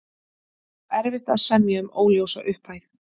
Erfitt að semja um óljósa upphæð